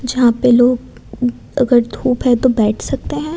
जहां पे लोग अगर धूप है तो बैठ सकते हैं।